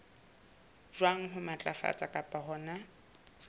jwang ho matlafatsa kapa hona